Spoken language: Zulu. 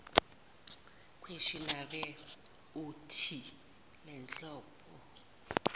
questionnaire uuthi lenhlobo